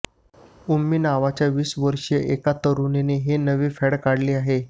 उम्मी नावाच्या वीस वर्षीय एका तरुणीने हे नवे फॅड काढले आहे